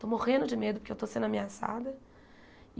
Estou morrendo de medo porque eu estou sendo ameaçada.